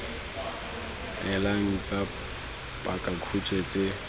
e leng tsa pakakhutshwe tse